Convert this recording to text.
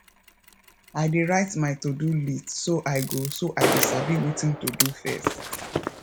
i dey write my to do list so i go so i go sabi wetin to do first